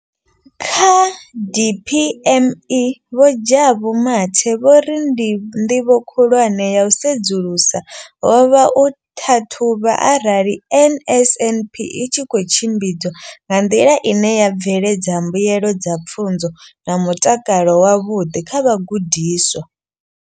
Kha DPME, Vho Jabu Mathe, vho ri nḓivho khulwane ya u sedzulusa ho vha u ṱhaṱhuvha arali NSNP i tshi khou tshimbidzwa nga nḓila ine ya bveledza mbuelo dza pfunzo na mutakalo wavhuḓi kha vhagudiswa.